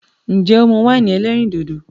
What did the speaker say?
Nje o mu win elerin dodo?